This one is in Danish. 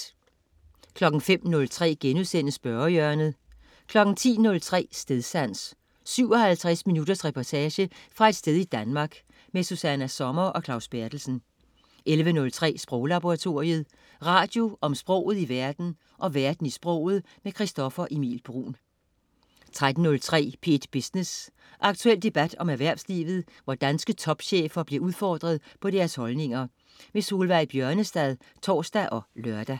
05.03 Spørgehjørnet* 10.03 Stedsans. 57 minutters reportage fra et sted i Danmark. Susanna Sommer og Claus Berthelsen 11.03 Sproglaboratoriet. Radio om sproget i verden og verden i sproget. Christoffer Emil Bruun 13.03 P1 Business. Aktuel debat om erhvervslivet, hvor danske topchefer bliver udfordret på deres holdninger. Solveig Bjørnestad (tors og lør)